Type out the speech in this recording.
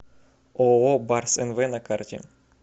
ооо барс нв на карте